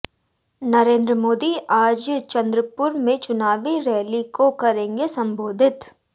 नरेंद्र मोदी आज चंद्रपुर में चुनावी रैली को करेंगे संबोधित